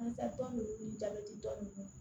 An taa tɔn ninnu jabɛti tɔn ninnu